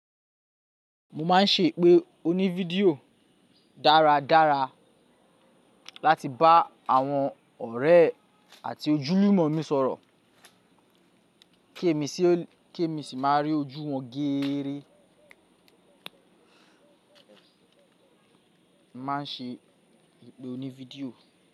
Mo má n ṣe ìpè òní fídíò dára dára láti bá àwọn ọ̀rẹ́ àti ojúlùmọ̀ mi sọ̀rọ̀ kí èmi sì má a rí ojú wọn géèrè. Mo má n ṣe ìpè òní fídíò.